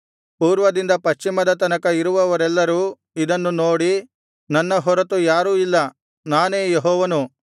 ಪೂರ್ವದಿಂದ ಪಶ್ಚಿಮದ ತನಕ ಇರುವವರೆಲ್ಲರೂ ಇದನ್ನು ನೋಡಿ ನನ್ನ ಹೊರತು ಯಾರೂ ಇಲ್ಲ ನಾನೇ ಯೆಹೋವನು